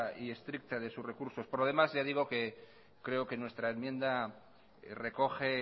y estricta de sus recursos por lo demás ya digo que creo que nuestra enmienda recoge